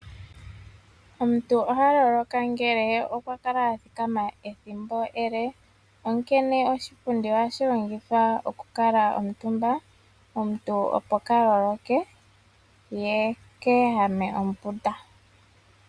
Omuntu oha loloka ngele okwa kala a thikama ethimbo ele, onkene oshipundi ohashi longithwa okukuutumbwa, opo omuntu kaa loloke ye ke ehame ombunda.